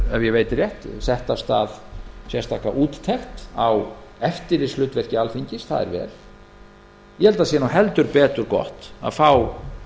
ef ég veit rétt sett af stað sérstaka úttekt á eftirlitshlutverki alþingis það er vel ég held að það sé nú heldur betur gott að fá